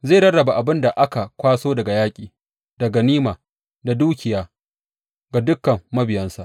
Zai rarraba abin da aka kwaso daga yaƙi, da ganima, da dukiya ga dukan mabiyansa.